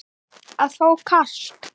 að fá kast